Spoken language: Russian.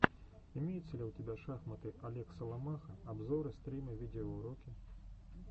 имеется ли у тебя шахматы олег соломаха обзоры стримы видеоуроки